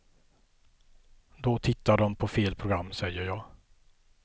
Då tittar de på fel program, säger jag.